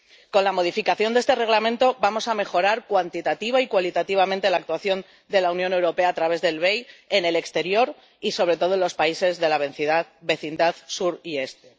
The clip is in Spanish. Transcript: Con la modificación de este Reglamento, vamos a mejorar cuantitativa y cualitativamente la actuación de la Unión Europea a través del BEI en el exterior y, sobre todo, en los países de la vecindad Sur y Este.